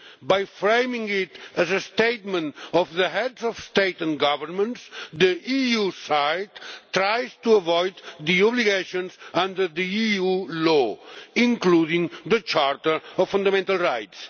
By framing it as a statement of the Heads of State and Government, the EU side is trying to avoid the obligations under EU law, including the Charter of Fundamental Rights.